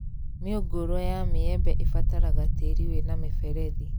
Mĩũngũrwa ya mĩembe ĩbataraga tĩĩri wĩna mĩberethi